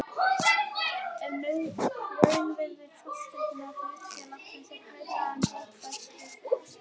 ef raunvirði fasteigna hlutafélags er hærra er bókfært verð þeirra.